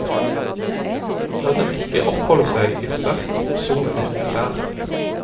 La dem ikke oppholde seg i sterk sol uten klær.